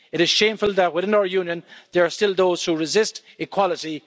It is shameful that within our Union, there are still those who resist equality